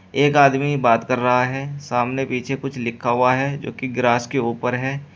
एक आदमी बात कर रहा है सामने पीछे कुछ लिखा हुआ है जो की ग्रास के ऊपर है।